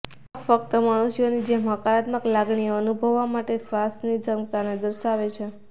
આ ફક્ત મનુષ્યોની જેમ હકારાત્મક લાગણીઓ અનુભવવા માટે શ્વાનની ક્ષમતાને દર્શાવે છે